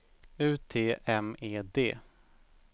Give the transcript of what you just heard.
U T M E D